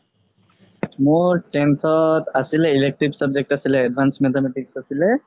মোৰ tenth আছিলে elective subject আছিলে advance mathematics আছিলে